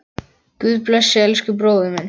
Guð blessi elsku bróður minn.